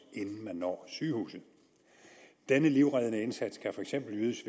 inden man når sygehuset denne livreddende indsats kan for eksempel ydes